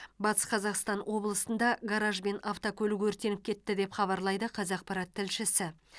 батыс қазақстан облысында гараж бен автокөлік өртеніп кетті деп хабарлайды қазақпарат тілшісі